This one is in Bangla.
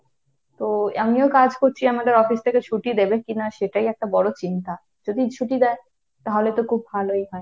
তো আমিও কাজ করছি আমাদের অফিস থেকে ছুটি দেবে কিনা সেটাই একটা বড় চিন্তা। যদি ছুটি দেয় তাহলে তো খুব ভালোই হয়।